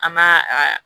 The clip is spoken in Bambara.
An m'a a